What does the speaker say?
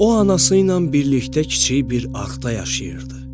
O anası ilə birlikdə kiçik bir arxda yaşayırdı.